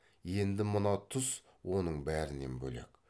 енді мына тұс оның бәрінен бөлек